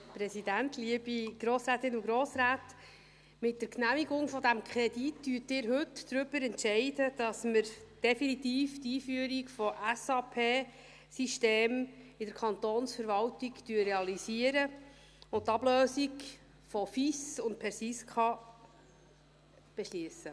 Mit der Genehmigung dieses Kredits entscheiden Sie heute darüber, dass wir definitiv die Einführung von SAP-Systemen in der Kantonsverwaltung realisieren und die Ablösung von FIS und PERSISKA beschliessen.